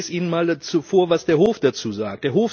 Ich lese Ihnen mal vor, was der Hof dazu sagt.